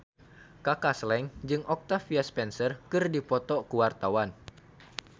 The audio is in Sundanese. Kaka Slank jeung Octavia Spencer keur dipoto ku wartawan